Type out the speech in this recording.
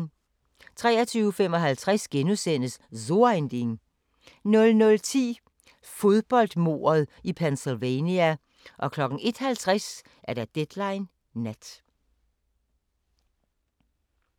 23:55: So ein Ding * 00:10: Fodboldmordet i Pennsylvania 01:50: Deadline Nat